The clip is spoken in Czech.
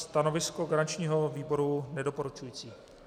Stanovisko garančního výboru nedoporučující.